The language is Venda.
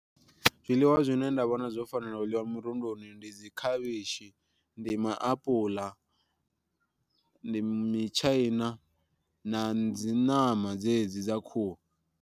Zwiḽiwa zwine nda vhona zwo fanela u ḽiwa murunduni ndi dzi khavhishi, ndi maapuḽa, ndi mitshaina na dzi ṋama dzedzi dza khuhu.